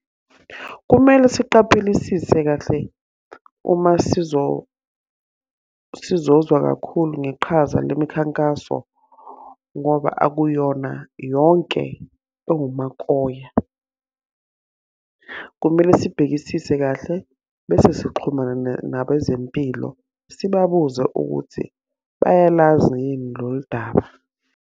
Kumele siqaphelisise kahle uma sizozwa kakhulu ngeqhaza lemikhankaso ngoba akuyona yonke ewumakoya. Kumele sibhekisise kahle bese sixhumana nabezempilo. Sibabuze ukuthi bayalazi yini lolu daba.